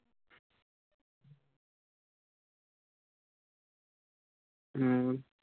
ਹਮ